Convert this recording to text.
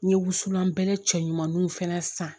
N ye wusulan cɛ ɲumaninw fɛnɛ san